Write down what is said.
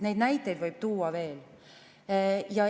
Neid näiteid võib tuua veel.